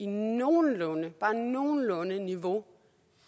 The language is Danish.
nogenlunde bare nogenlunde niveau